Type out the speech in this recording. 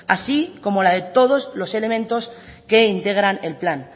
así como la de todos los elementos que integran el plan